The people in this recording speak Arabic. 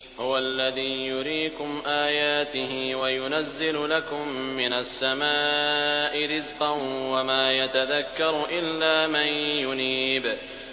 هُوَ الَّذِي يُرِيكُمْ آيَاتِهِ وَيُنَزِّلُ لَكُم مِّنَ السَّمَاءِ رِزْقًا ۚ وَمَا يَتَذَكَّرُ إِلَّا مَن يُنِيبُ